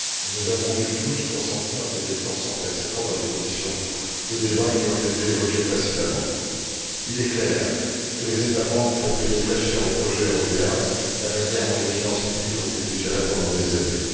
Nous avons tous dû consentir des efforts sans précédent dans les conditions de débat qui ont été évoquées précédemment. Il est clair que les États membres font payer très cher au projet européen la manière dont les finances publiques ont été gérées pendant des années.